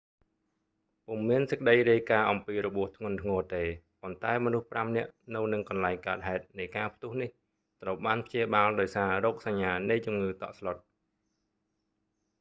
ពុំមានសេចក្តីរាយការណ៍អំពីរបួសធ្ងន់ធ្ងរទេ ប៉ុន្តែមនុស្សប្រាំនាក់នៅនឹងកន្លែងកើតហេតុនៃការផ្ទុះនេះ ត្រូវបានព្យាបាលដោយសាររោគសញ្ញានៃជំងឺតក់ស្លុត